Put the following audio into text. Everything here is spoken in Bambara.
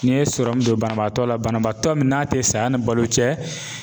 N'i ye sɔrɔmu don banabaatɔ la banabaatɔ min n'a te saya ni balo cɛ